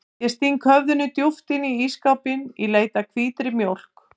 Ég sting höfðinu djúpt inn í ísskápinn í leit að hvítri mjólk.